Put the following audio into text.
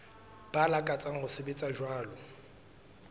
ba lakatsang ho sebetsa jwalo